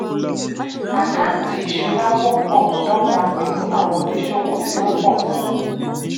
àkántì ìṣura wọ́pọ̀ dọ́gba pẹ̀lú àwọn oníṣòwò tí ó pọ̀ sí.